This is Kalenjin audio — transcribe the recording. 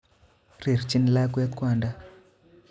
Rirchin lakwet kwanda